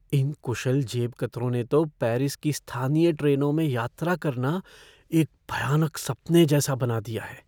इन कुशल जेबकतरों ने तो पेरिस की स्थानीय ट्रेनों में यात्रा करना एक भयानक सपने जैसा बना दिया हैं।